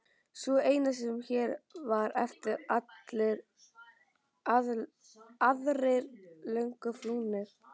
Sú eina sem hér var eftir, allir aðrir löngu flúnir.